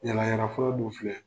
Yala yala fura dun filɛ